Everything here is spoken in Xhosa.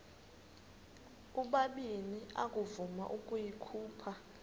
ubabini akavuma ukuyikhupha